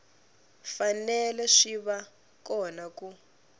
fanele swi va kona ku